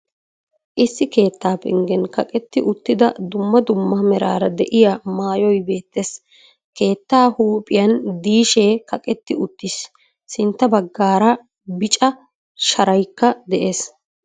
Issi keettaa penggen kaqqeti uttida dumma dumma meraara de'iya maayoy beettees. Keettaa huuphphiyan diishee kaqetti uttiis. Sintta baggaara bicca shaaraykka de'ees.